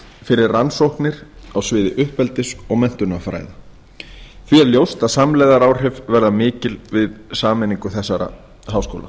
fyrir rannsóknir á sviði uppeldis og menntunarfræða því er ljóst að samlegðaráhrif verða mikil við sameiningu þessara háskóla